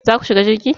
Za ku shiga jirgi?